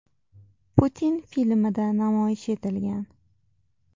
Putin” filmida namoyish etilgan.